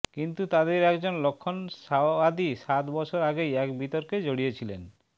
কিন্তু তাঁদের একজন লক্ষ্মণ সাওয়াদি সাত বছর আগেই এক বিতর্কে জড়িয়েছিলেন